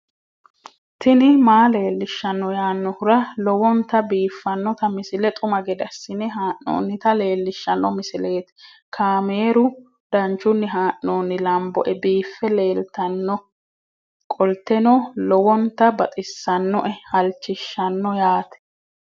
tini maa leelishshanno yaannohura lowonta biiffanota misile xuma gede assine haa'noonnita leellishshanno misileeti kaameru danchunni haa'noonni lamboe biiffe leeeltannoqolten lowonta baxissannoe halchishshanno yaate